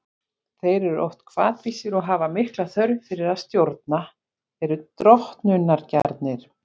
Þeir eru oft hvatvísir og hafa mikla þörf fyrir að stjórna, eru drottnunargjarnir.